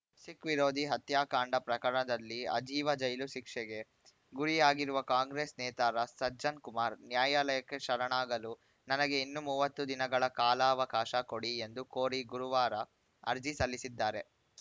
ಸಿಖ್‌ ವಿರೋಧಿ ಹತ್ಯಾಕಾಂಡ ಪ್ರಕರಣದಲ್ಲಿ ಆಜೀವ ಜೈಲು ಶಿಕ್ಷೆಗೆ ಗುರಿಯಾಗಿರುವ ಕಾಂಗ್ರೆಸ್‌ ನೇತಾರ ಸಜ್ಜನ್‌ ಕುಮಾರ್‌ ನ್ಯಾಯಾಲಯಕ್ಕೆ ಶರಣಾಗಲು ನನಗೆ ಇನ್ನೂ ಮೂವತ್ತು ದಿನಗಳ ಕಾಲಾವಕಾಶ ಕೊಡಿ ಎಂದು ಕೋರಿ ಗುರುವಾರ ಅರ್ಜಿ ಸಲ್ಲಿಸಿದ್ದಾರೆ